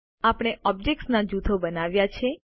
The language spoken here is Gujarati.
આપણે ઓબ્જેક્ત્સના જૂથો બનાવ્યા છે